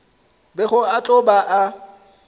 bego a tlo ba a